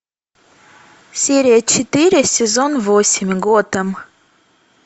серия четыре сезон восемь готэм